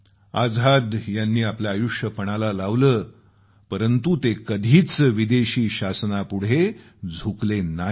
आझाद यांनी आपलं आयुष्य पणाला लावलं परंतु ते कधीच विदेशी शासनापुढे झुकले नाहीत